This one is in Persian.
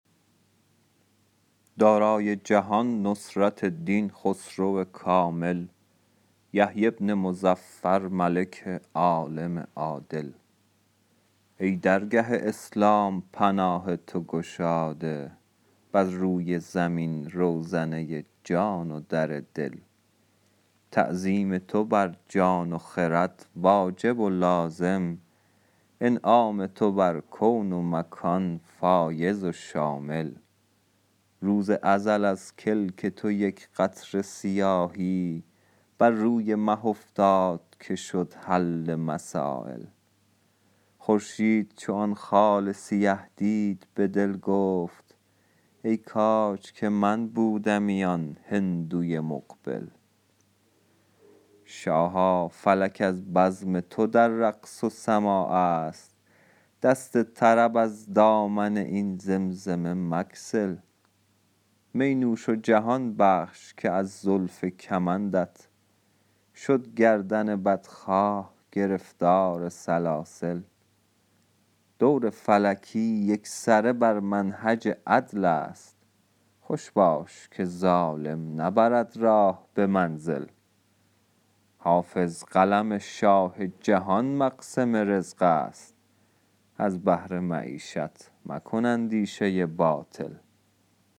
دارای جهان نصرت دین خسرو کامل یحیی بن مظفر ملک عالم عادل ای درگه اسلام پناه تو گشاده بر روی زمین روزنه جان و در دل تعظیم تو بر جان و خرد واجب و لازم انعام تو بر کون و مکان فایض و شامل روز ازل از کلک تو یک قطره سیاهی بر روی مه افتاد که شد حل مسایل خورشید چو آن خال سیه دید به دل گفت ای کاج که من بودمی آن هندوی مقبل شاها فلک از بزم تو در رقص و سماع است دست طرب از دامن این زمزمه مگسل می نوش و جهان بخش که از زلف کمندت شد گردن بدخواه گرفتار سلاسل دور فلکی یکسره بر منهج عدل است خوش باش که ظالم نبرد راه به منزل حافظ قلم شاه جهان مقسم رزق است از بهر معیشت مکن اندیشه باطل